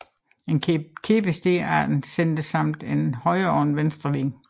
En kæde består af en center samt en højre og en venstre wing